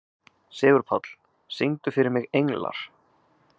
Sigurpáll, syngdu fyrir mig „Englar“.